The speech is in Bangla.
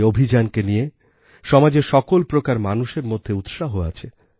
এই অভিযানকে নিয়ে সমাজের সকল প্রকার মানুষের মধ্যে উৎসাহ আছে